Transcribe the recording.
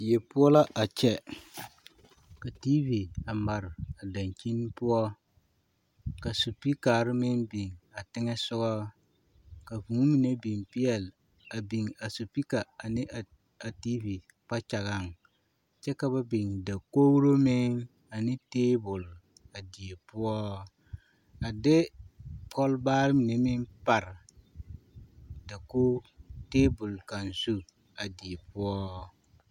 Die poɔ la a kyɛ, ka TV a mare a dankyini poɔ ka sipikare meŋ biŋ a teŋɛsogɔ ka hūū mine biŋ peɛle a biŋ a sipika ane a TV kpakyagaŋ kyɛ ka ba biŋ dakogiro meŋ ane teebol a die poɔ a de kɔlbaare mine meŋ pare a dakogi teebol kaŋ zu a die poɔ.